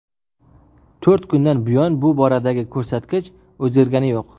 To‘rt kundan buyon bu boradagi ko‘rsatkich o‘zgargani yo‘q.